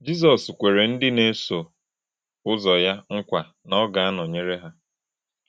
Jizọs kwere ndị na-eso ụzọ ya nkwa na ọ ga-anọnyere ha.